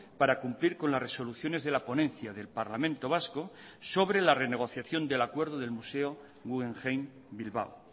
para cumplir con las resoluciones de la ponencia del parlamento vasco sobre la renegociación del acuerdo del museo guggenheim bilbao